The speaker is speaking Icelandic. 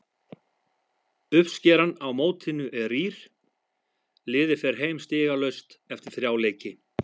Uppskeran á mótinu er rýr, liðið fer heim stigalaust eftir þrjá leiki.